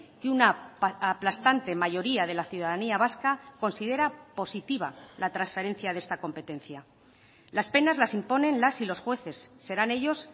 que una aplastante mayoría de la ciudadanía vasca considera positiva la transferencia de esta competencia las penas las imponen las y los jueces serán ellos